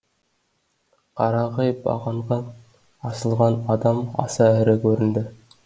қарағай бағанға асылған адам аса ірі көрінді